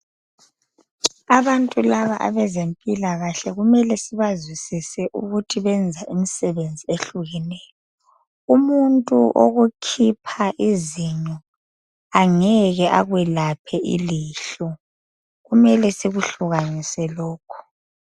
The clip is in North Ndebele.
Abantu laba abezempilakahle kumele sibazwisise ukuthi benze umsebenzi ohlukeneyo. Umuntu okukhipha izinyo angeke akwelaphe ilihlo kumele sikuhlukaniso lokhu.